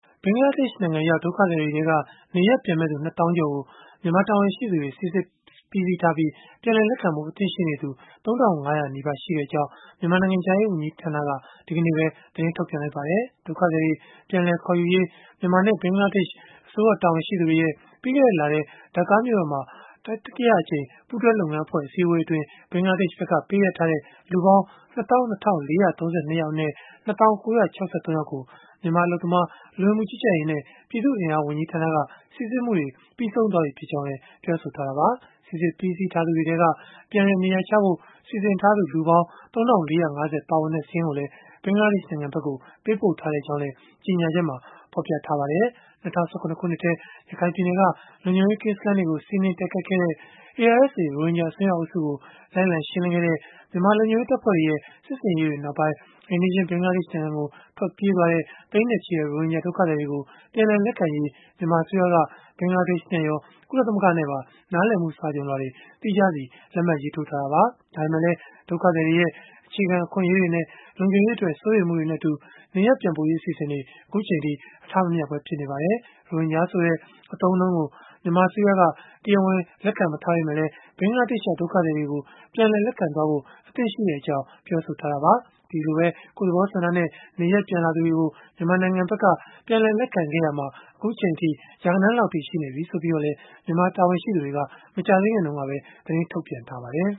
ဘင်္ဂလားဒေ့ရှ်နိုင်ငံရောက် ဒုက္ခသည်တွေထဲက နေရပ်ပြန်မယ့်သူ ၂၀,၀၀၀ ကျော်ကို မြန်မာတာဝန်ရှိသူတွေ စိစစ်ပြီးစီးထားပြီး ပြန်လည် လက်ခံဖို့ အသင့်ရှိနေသူ ၃,၅၀၀ နီးပါးရှိကြောင်း မြန်မာနိုင်ငံခြားရေး ဝန်ကြီးဌာနက ဒီကနေ့ပဲ သတင်း ထုတ်ပြန်လိုက်ပါတယ်။ ဒုက္ခသည်တွေ ပြန်လည်ခေါ်ယူရေး မြန်မာနဲ့ ဘင်္ဂလားဒေ့ရှ် တာဝန်ရှိသူတွေရဲ့ ပြီးခဲ့တဲ့လထဲ ဒါကာမြို့တော်မှာ တတိယအကြိမ် ပူးတွဲလုပ်ငန်းအဖွဲ့ အစည်းအဝေးအတွင်း ဘင်္ဂလားဒေ့ရှ်ဘက်က ပေးအပ်ထားတဲ့ လူပေါင်း ၂၂,၄၃၂ ယောက်အနက် ၂၀,၉၆၃ ယောက်ကို မြန်မာ အလုပ်သမား၊ လူဝင်မှုကြီးကြပ်ရေးနဲ့ ပြည်သူ့အင်အား ဝန်ကြီးဌာနက စိစစ်မှုတွေ ပြီးဆုံးသွားပြီဖြစ်ကြောင်း ပြောဆိုခဲ့တာပါ။ စိစစ်ပြီးစီးထားသူတွေထဲက ပြန်လည်နေရာချဖို့ စီစဉ်ထားသူ လူပေါင်း ၃,၄၅၀ ပါဝင်တဲ့ စာရင်းကိုလည်း ဘင်္ဂလားဒေ့ရှ်နိုင်ငံကို ပေးပို့ထားကြောင်းလည်း ကြေညာချက်မှာ ဖော်ပြထားပါတယ်။ ၂၀၁၇ ထဲ ရခိုင်ပြည်နယ်က လုံခြုံရေးကင်းစခန်းတွေကို စီးနင်းတိုက်ခိုက်ခဲ့တဲ့ ARSA ရိုဟင်ဂျာ အစွန်းရောက်အုပ်စုကို လိုက်လံရှင်းလင်းခဲ့တဲ့ မြန်မာလုံခြုံရေး တပ်ဖွဲ့တွေရဲ့ စစ်ဆင်ရေးတွေနောက်ပိုင်း အိမ်နီးချင်း ဘင်္ဂလားဒေ့ရှ်နိုင်ငံကို ထွက်ပြေးသွားတဲ့ သိန်းနဲ့ချီတဲ့ ရိုဟင်ဂျာဒုက္ခသည်တွေကို ပြန်လည် လက်ခံရေး မြန်မာအစိုးရက ဘင်္ဂလားဒေ့ရှ်နဲ့ရော ကုလသမဂ္ဂနဲ့ပါ နားလည်မှု စာချွန်လွှာတွေ သီးခြားလက်မှတ် ရေးထိုးထားတာပါ။ ဒါပေမဲ့လည်း ဒုက္ခသည်တွေရဲ့ အခြေခံအခွင့်အရေးတွေနဲ့ လုံခြုံရေးအတွက် စိုးရိမ်မှုတွေနဲ့အတူ နေရပ်ပြန်ပို့ရေး အစီအစဉ်တွေ အထမမြောက်ပဲ ဖြစ်နေပါတယ်။ ရိုဟင်ဂျာဆိုတဲ့ အသုံးအနှုန်းကို မြန်မာအစိုးရက တရားဝင် လက်ခံမထားပေမဲ့လည်း ဘင်္ဂလားဒေ့ရှ်ရောက် ဒုက္ခသည်တွေကို ပြန်လည်လက်ခံဖို့ အသင့်ရှိကြောင်း ပြောဆိုထားသလို ကိုယ့်သဘောဆန္ဒနဲ့ နေရပ်ပြန်လာသူတွေကို ပြန်လည်လက်ခံခဲ့ရာမှာ ရာဂဏန်းလောက်အထိ ရှိနေပြီလို့လည်း မြန်မာတာဝန်ရှိသူတွေ မကြာသေးခင်တုန်းက သတင်းထုတ်ပြန်ထားပါတယ်။